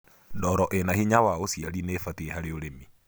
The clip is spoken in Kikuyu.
ndoro ina hinya wa uciari nĩubatie harĩ ũrĩmi